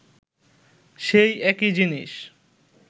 সেই একই জিনিস